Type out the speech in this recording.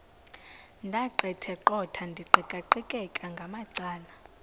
ndaqetheqotha ndiqikaqikeka ngamacala